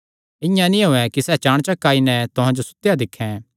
इआं नीं होयैं कि सैह़ चाणचक आई नैं तुहां जो सुतेयो दिक्खैं